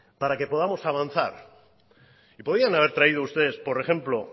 para que podamos avanzar y podían haber traído ustedes por ejemplo